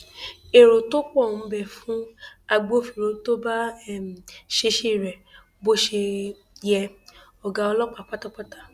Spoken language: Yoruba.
èrè tó pọ ń bẹ fún agbófinró tó bá um ṣiṣẹ rẹ bó ṣe um yẹ ọgá ọlọpàá pátápátá